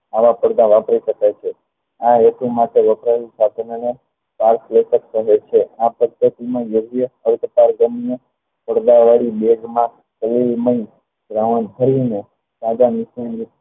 આવા પડદા વાપરી શકાય છે આ વસ્તુ માટે વપરાયેલ સાધનોને પારદર્શક કહે છે આ પ્રત્યેકનું દ્રવ્ય અર્ધપારગમનું પડદા વાળી બેગમાં રાવણ થઈને સાદા મિશ્રણરૂપ